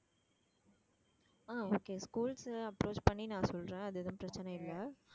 ஆஹ் okay schools uh approach பண்ணி நான் சொல்றேன் அது எதுவும் பிரச்சனை இல்லை